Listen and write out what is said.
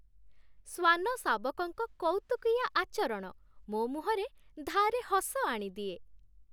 ଶ୍ଵାନ ଶାବକଙ୍କ କଉତୁକିଆ ଆଚରଣ ମୋ ମୁହଁରେ ଧାରେ ହସ ଆଣିଦିଏ।